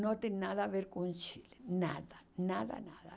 Não tem nada a ver com o Chile, nada, nada, nada.